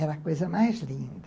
Era a coisa mais linda.